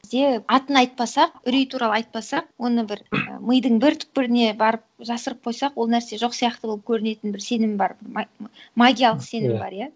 бізде атын айтпасақ үрей туралы айтпасақ оны бір мидың бір түпкіріне барып жасырып қойсақ ол нәрсе жоқ сияқты болып көрінетін бір сенім бар магиялық сенім бар иә